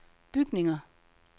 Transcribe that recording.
bygninger